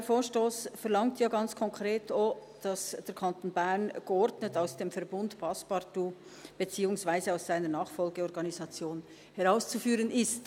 Dieser Vorstoss verlangt ja ganz konkret auch, dass der Kanton Bern «geordnet aus dem Verbund ‹Passepartout› beziehungsweise aus seiner Nachfolgeorganisation […] herauszuführen ist.